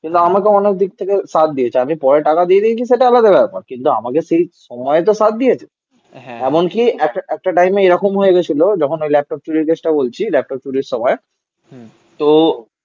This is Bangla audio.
কিন্তু আমাকে অনেক দিক থেকে সাথ দিয়েছে. আমি পরে টাকা দিয়ে দিয়েছি সেটা আলাদা ব্যাপার. কিন্তু আমাকে সেই সময় তো সাথ দিয়েছে এমনকি একটা একটা টাইমে এরকম হয়ে গিয়েছিল যখন ওই ল্যাপটপ চুরির চেষ্টা বলছি ল্যাপটপ চুরির সময় তো